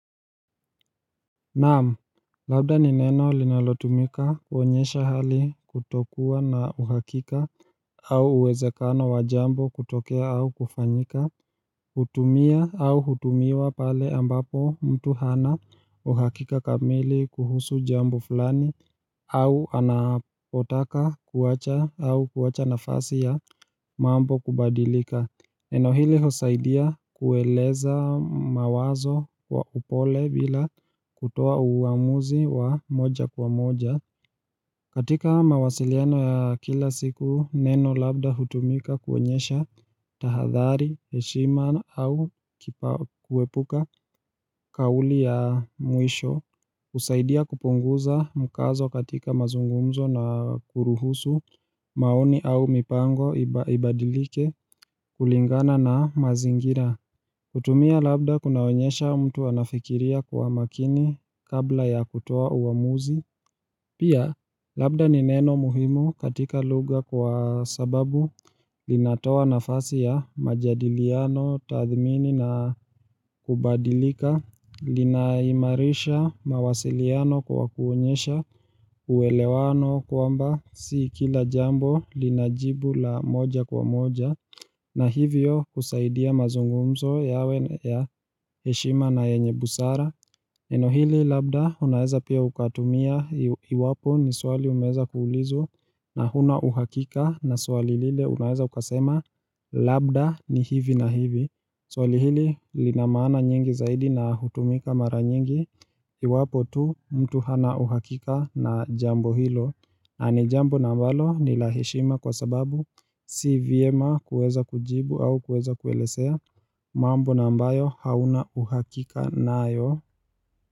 Naam, labda ni neno linalotumika kuonyesha hali kutokuwa na uhakika au uwezekano wa jambo kutokea au kufanyika hutumia au hutumiwa pale ambapo mtu hana uhakika kamili kuhusu jambo fulani au anapotaka kuacha au kuwacha nafasi ya mambo kubadilika neno hili hosaidia kueleza mawazo kwa upole bila kutoa uamuzi wa moja kwa moja. Katika mawasiliano ya kila siku, neno labda hutumika kuonyesha tahadhari, heshima au kuepuka kauli ya mwisho. Husaidia kupunguza mkazo katika mazungumzo na kuruhusu maoni au mipango ibadilike kulingana na mazingira kutumia labda kunaonyesha mtu anafikiria kwa makini kabla ya kutoa uamuzi Pia labda ni neno muhimu katika lugha kwa sababu linatoa nafasi ya majadiliano tathmini na kubadilika linaimarisha mawasiliano kwa kuonyesha uelewano kwamba si kila jambo lina jibu la moja kwa moja na hivyo husaidia mazungumzo yawe ya heshima na yenye busara neno hili labda unaeza pia ukatumia iwapo ni swali umeweza kuulizwa na huna uhakika na swali lile unaeza ukasema Labda ni hivi na hivi swali hili lina maana nyingi zaidi na hutumika mara nyingi iwapo tu mtu hana uhakika na jambo hilo na ni jambo na ambalo ni la heshima kwa sababu Si vyema kueza kujibu au kueza kuelezea mambo na ambayo hauna uhakika nayo.